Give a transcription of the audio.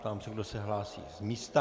Ptám se, kdo se hlásí z místa.